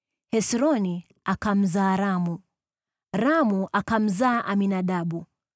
Hesroni akamzaa Ramu, Ramu akamzaa Aminadabu,